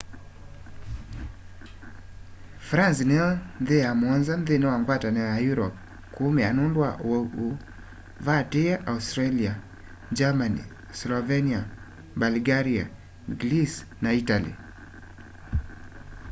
france niyo nthi ya muonza nthini wa ngwatanio ya europe kuumia nundu wa uwau ûû vatiie australia germany slovenia bulgaria greece na itali